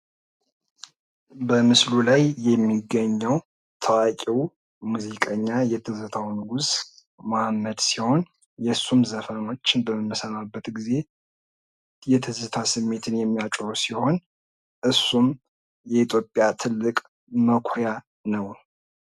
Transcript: በምስሉ ላይ የሚገኘው ታዋቂው የትዝታው ንጉስ የማህሙድ ምስል ነው። የሱን ዘፈኖች በምንሰማበት ጊዜ ትዝታን የሚያስነሳብን። የኢትዮጵያ ሙዚቀኛ ነው።